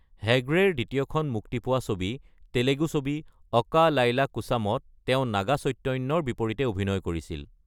হেগদেৰ দ্বিতীয়খন মুক্তি পোৱা ছবি, তেলেগু ছবি ‘অকা লাইলা কোছাম’ত, তেওঁ নাগা চৈতন্যৰ বিপৰীতে অভিনয় কৰিছিল।